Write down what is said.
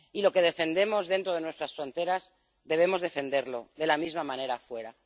Y lo que defendemos dentro de nuestras fronteras debemos defenderlo de la misma manera fuera.